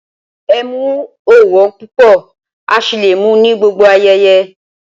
Ẹ̀mú ọ̀ wọn púpọ̀ á sì lé mú ní gbogbo ayéyé